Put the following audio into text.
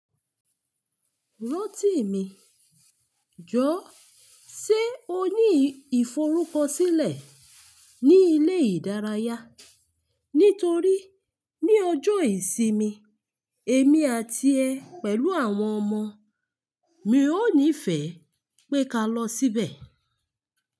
Rántí mi, jọ́, ṣé o ní ìforúkọ sílẹ̀ ní ilé ìdárayá? Nítorí ní ọjọ́ ìsinmi, èmi àti ẹ pẹ̀lú àwọn ọmọ mi ó nífẹ̀ẹ́ pé ká lọ síbẹ̀.